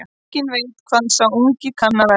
Enginn veit hvað sá ungi kann að verða.